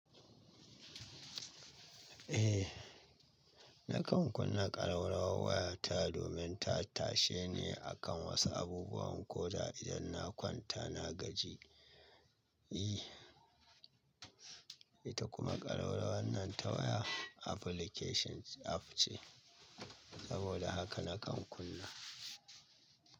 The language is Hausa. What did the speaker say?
Eh, nakan kunna ƙarawrawar waya ta domin ta tashe ni akan wasu abubuwan koda idan na kwanta na gaji. I, ita kuma ƙarawrawan nan ta waya application app ce. Saboda haka nakan kunna.